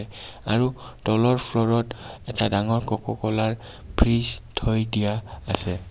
আৰু তলৰ ফ্লুৰ ত এটা ডাঙৰ ককাকলা ৰ ফ্ৰিজ থৈ দিয়া আছে.